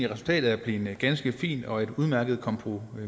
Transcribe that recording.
resultatet er blevet ganske fint og et udmærket kompromis